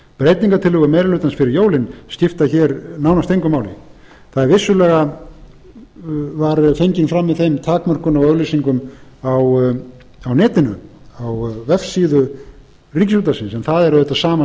meiri hlutans fyrir jólin skipta hér nánast engu máli það var vissulega fengin fram með þeim takmörkunum á auglýsingum á netinu á vefsíðu ríkisútvarpsins en það er auðvitað sama